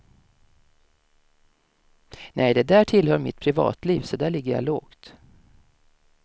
Nej, det där tillhör mitt privatliv så där ligger jag lågt.